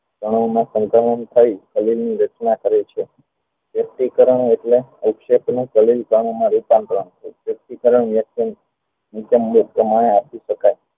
સરીર ની રચના કરે છે વ્યક્તીકરણ એટલે માં રૂપાંતરણ